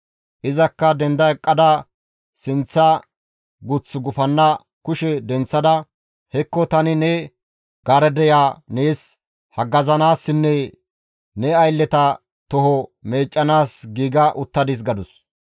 Izakka denda eqqada sinththa guth gufanna kushe denththada, «Hekko tani ne garadeya nees haggazanaassinne ne aylleta toho meeccanaas giiga uttadis» gadus.